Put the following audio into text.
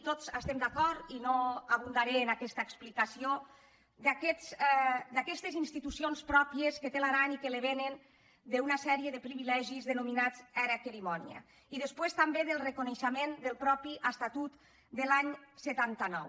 tots hi estem d’acord i no abundaré en aquesta ex·plicació d’aquestes institucions pròpies que té l’aran i que li vénen d’una sèrie de privilegis denominats era querimònia i després també del reconeixement del mateix estatut de l’any setanta nou